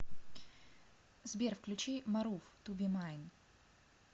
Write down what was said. сбер включи марув ту би майн